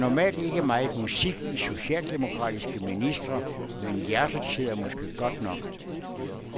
Der er normalt ikke meget musik i socialdemokratiske ministre, men hjertet sidder måske godt nok.